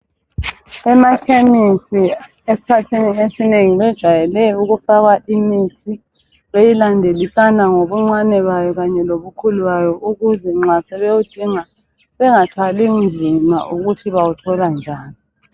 Emakhemisi esikhathini esinengi bajayele ukufaka imithi beyilandelisana ngobuncane bayo kanye lobukhulu bayo ukuze nxa sebewudinga bengathwali nzima ukuthi bawuthola njani.